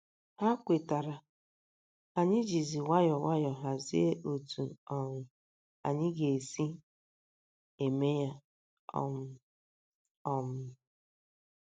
Ha kwetara, anyị jizi nwayọọ nwayọọ hazie otú um anyị ga - esi eme ya um. um